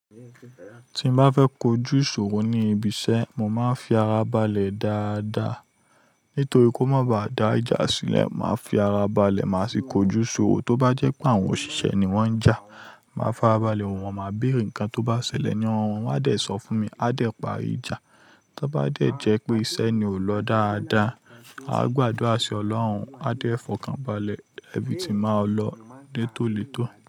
Tí n bá fẹ́ kojú ìṣòro ní ibi iṣẹ́, mo máa ń fi ara balẹ̀ dáadáa. Nítorí kó má bá dá ìjà sílẹ̀, màá fi ara balẹ̀, màá sì kojú ìṣòro. Tóbá jẹ́ pé àwọn òṣìṣẹ́ ni wọ́n ń jà, màá fara balẹ̀, wọ́n máa bèrè nǹkan tó bá ṣẹlẹ̀ ní ọwọ́ wọn, wọ́n á dẹ̀ sọ fún mi, a dẹ̀ parí ìjà. Tóbá dẹ̀ jẹ́ pé iṣẹ́ ni ò lọ dáadáa, a ó gbàdúrà sí Ọlọ́run, a dẹ̀ fọkàn balẹ̀, everything máa lọ nítòlótò.